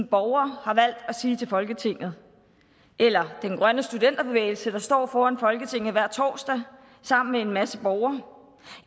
borgere har valgt at sige til folketinget eller den grønne studenterbevægelse der står foran folketinget hver torsdag sammen med en masse borgere